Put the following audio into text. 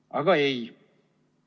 Aga ei.